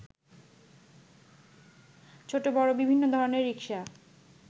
ছোট বড় বিভিন্ন ধরনের রিকশা